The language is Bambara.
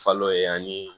Falo ye ani